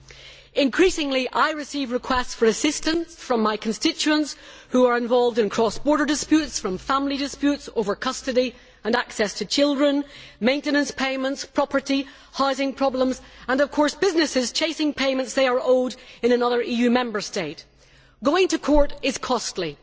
I am receiving an increasing number of requests for assistance from my constituents who are involved in cross border disputes family disputes over custody, access to children and maintenance payments, property, housing problems, and businesses chasing payments they are owed in another EU Member State. Going to court is costly